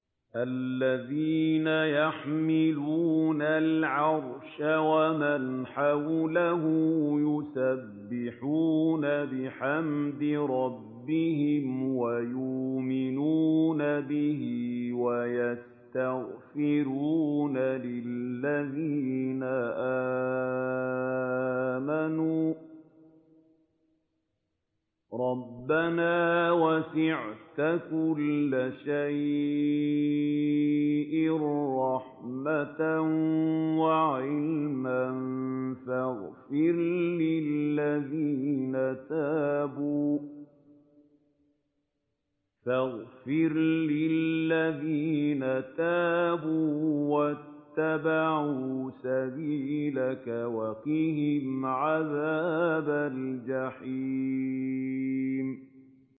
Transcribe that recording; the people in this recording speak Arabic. الَّذِينَ يَحْمِلُونَ الْعَرْشَ وَمَنْ حَوْلَهُ يُسَبِّحُونَ بِحَمْدِ رَبِّهِمْ وَيُؤْمِنُونَ بِهِ وَيَسْتَغْفِرُونَ لِلَّذِينَ آمَنُوا رَبَّنَا وَسِعْتَ كُلَّ شَيْءٍ رَّحْمَةً وَعِلْمًا فَاغْفِرْ لِلَّذِينَ تَابُوا وَاتَّبَعُوا سَبِيلَكَ وَقِهِمْ عَذَابَ الْجَحِيمِ